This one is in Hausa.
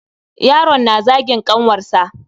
Yaron na zagin ƙanwarsa.